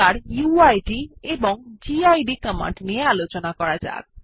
এখন উইড এবং gid command নিয়ে আলোচনা করা যাক